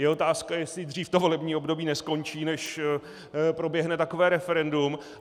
Je otázka, jestli dřív to volební období neskončí, než proběhne takové referendum.